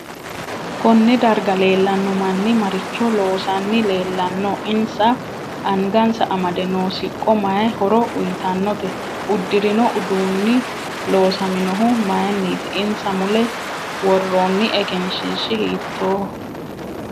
Konne darga leelanno manni maricho loosanni leelanno insa angasani amde noo siqqo mayi horo uyiitanote udurinno uduuni loosaminohu mayiiniti isna mule woroono egenshiishi hiitooho